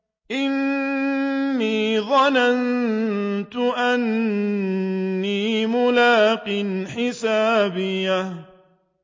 إِنِّي ظَنَنتُ أَنِّي مُلَاقٍ حِسَابِيَهْ